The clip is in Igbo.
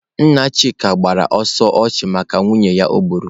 Nna Chika gbara ọsọ ọchụ maka nwunye ya o gburu.